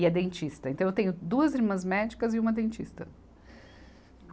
E é dentista, então eu tenho duas irmãs médicas e uma dentista.